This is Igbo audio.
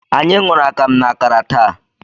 Anyị ṅụrụ akamu na akara taa.